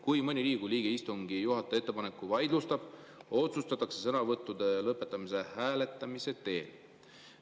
Kui mõni Riigikogu liige istungi juhataja ettepaneku vaidlustab, otsustatakse sõnavõttude lõpetamine hääletamise teel.